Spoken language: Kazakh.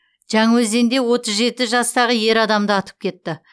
жаңаөзенде отыз жеті жастағы ер адамды атып кетті